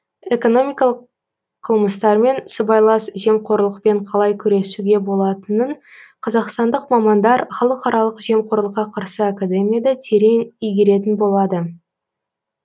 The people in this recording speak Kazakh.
экономикалық қылмыстармен сыбайлас жемқорлықпен қалай күресуге болатынын қазақстандық мамандар халықаралық жемқорлыққа қарсы академияда терең игеретін болады